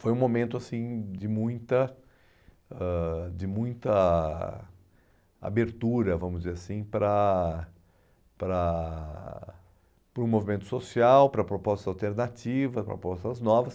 Foi um momento assim de muita ãh de muita abertura, vamos dizer assim, para para para o movimento social, para propostas alternativas, propostas novas.